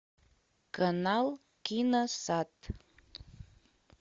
канал киносад